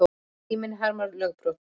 Síminn harmar lögbrot